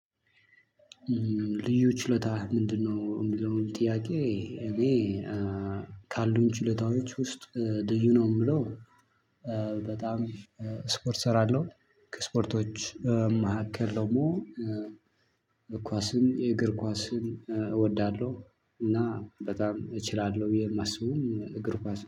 ልዩ ችሎታህ ምንድነው? የሚለውን ጥያቄ እኔ ካሉኝ ችሎታዎች ውስጥ ልዩ ነው የምለው። በጣም ስፖርት እሰራለሁ ከስፖርቶች መካከል ደግሞ ኳስን የእግር ኳስን እወዳለሁ። እና በጣም እችላለሁ ብየ የማስበውም እግር ኳስ